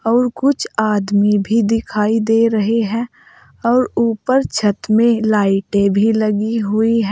और कुछ आदमी भी दिखाई दे रहे हैं और ऊपर छत में लाइटे भी लगी हुई है।